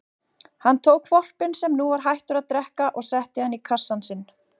Hann tók hvolpinn sem nú var hættur að drekka og setti hann í kassann sinn.